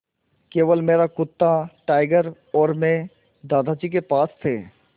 केवल मेरा कुत्ता टाइगर और मैं दादाजी के पास थे